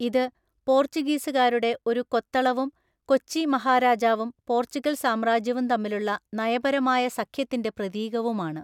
ഇത് പോർച്ചുഗീസുകാരുടെ ഒരു കൊത്തളവും കൊച്ചി മഹാരാജാവും പോർച്ചുഗൽ സാമ്രാജ്യവും തമ്മിലുള്ള നയപരമായ സഖ്യത്തിൻ്റെ പ്രതീകവുമാണ്.